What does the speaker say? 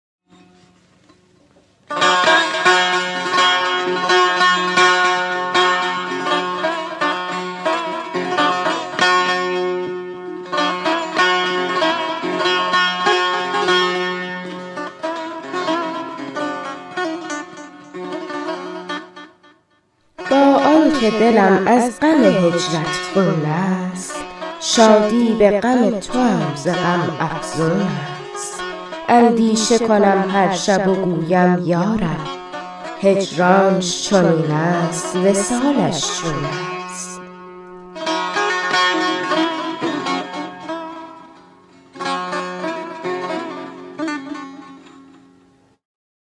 با آن که دلم از غم هجرت خون است شادی به غم توام ز غم افزون است اندیشه کنم هر شب و گویم یا رب هجرانش چنین است وصالش چون است